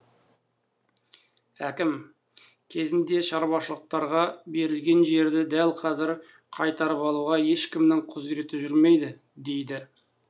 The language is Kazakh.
әкім кезінде шаруашылықтарға берілген жерді дәл қазір қайтарып алуға ешкімнің құзіреті жүрмейді дейді